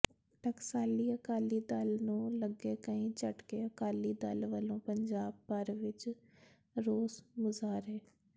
ਟਕਸਾਲੀ ਅਕਾਲੀ ਦਲ ਨੂੰ ਲੱਗੇ ਕਈ ਝਟਕੇ ਅਕਾਲੀ ਦਲ ਵੱਲੋਂ ਪੰਜਾਬ ਭਰ ਵਿੱਚ ਰੋਸ ਮੁਜ਼ਾਹਰੇ